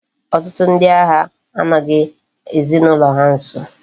Otutu ndi agha anoghi ezinaulo ha nso